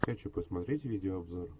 хочу посмотреть видеообзор